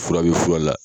Fura bɛ fura la